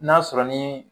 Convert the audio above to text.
N'a sɔrɔ ni